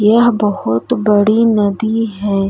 यह बहोत बड़ी है।